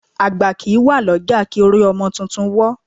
Àgbà kì í wà lọ́jà kí orí ọmọ tuntun wọ́